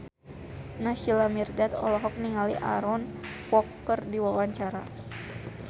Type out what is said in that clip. Naysila Mirdad olohok ningali Aaron Kwok keur diwawancara